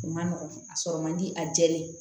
U man nɔgɔn a sɔrɔ man di a jɛlen ye